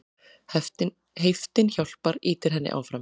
Heiftin hjálpar, ýtir henni áfram.